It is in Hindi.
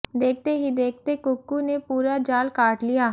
देखते ही देखते कुक्कू ने पूरा जाल काट लिया